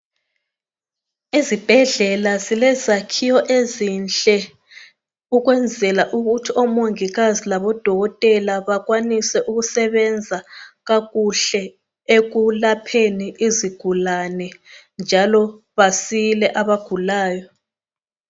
Ezibhedlela silezakhiwo ezinhle ukwenzela ukuthi omongikazi labodokotela bakwanise ukusebenza kakuhle ekulapheni izigulane, njalo basile abagulayo.